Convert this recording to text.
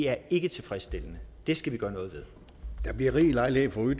er ikke tilfredsstillende det skal vi gøre noget